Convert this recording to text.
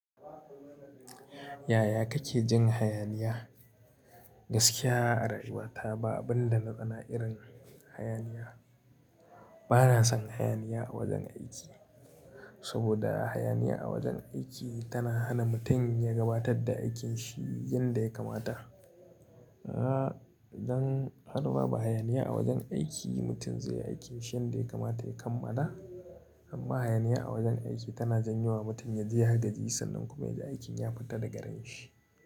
Yaya kake jin hayaniya? Gaskiya, a rayuwata ba abun da na tsana irin hayaniya. Bana son hayaniya a wajen aiki, saboda hayaniya a wajen aiki tana hana mutum ya gabatar da aikinsa yanda ya kamata. Aaa, don haka ba hayaniya a wajen aiki mutum zai yi aikinsa yanda ya kamata ya kammala. Amma hayaniya a wajen aiki tana janyewa mutum ya ji hadari sannan kuma ya ji aikin ya fita daga ran shi.